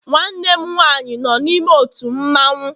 Nwannem nwaanyị no n'ime ótù mmawụ